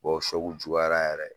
Bɔ juyara yɛrɛ